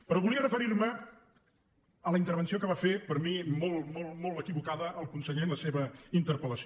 però volia referir me a la intervenció que va fer per mi molt molt molt equivocada el conseller en la seva interpel·lació